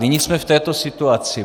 Nyní jsme v této situaci.